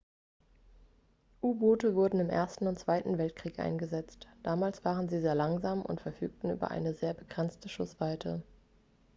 u-boote wurden im ersten und zweiten weltkrieg eingesetzt damals waren sie sehr langsam und verfügten über eine sehr begrenzte schussweite